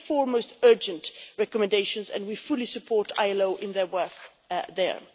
so. These are the four most urgent recommendations and we fully support ILO in their work there.